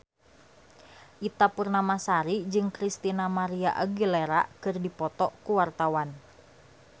Ita Purnamasari jeung Christina María Aguilera keur dipoto ku wartawan